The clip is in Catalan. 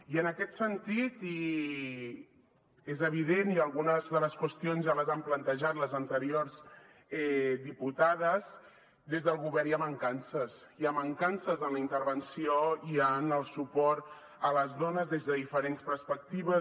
i en aquest sentit és evident i algunes de les qüestions ja les han plantejat les anteriors diputades des del govern hi ha mancances hi ha mancances en la intervenció i en el suport a les dones des de diferents perspectives